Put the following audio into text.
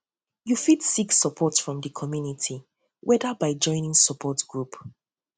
you fit seek support from di community whether by joining support by joining support group